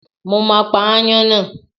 Mo máa pa ááyán náà.